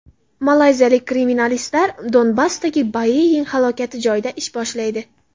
Malayziyalik kriminalistlar Donbassdagi Boeing halokati joyida ish boshlaydi.